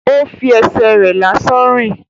Ó fi ẹsẹ̀ rẹ̀ lásán rìn